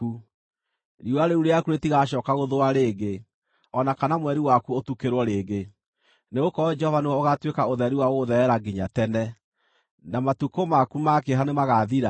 Riũa rĩu rĩaku rĩtigacooka gũthũa rĩngĩ, o na kana mweri waku ũtukĩrwo rĩngĩ; nĩgũkorwo Jehova nĩwe ũgaatuĩka ũtheri wa gũgũtherera nginya tene, na matukũ maku ma kĩeha nĩmagathira.